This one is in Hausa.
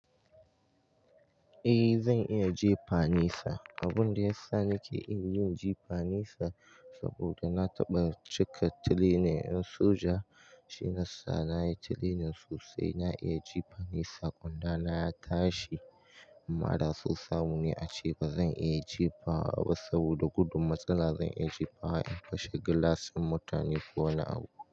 Eh zan iya jifa nisa. Abun da yasa nake iya yin jifa nisa saboda na taɓa cika training ɗin soja, shi na sa nayi training sosai na iya jifa nisa. Kwanda na ya tashi amma da sosai mu ne ace bazan iya jifa ba saboda gudun matsala zan iya jifa in fashe gilas ɗun mutane ko wani abu.